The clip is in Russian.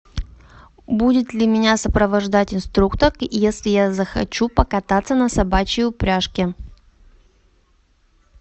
будет ли меня сопровождать инструктор если я захочу покататься на собачьей упряжке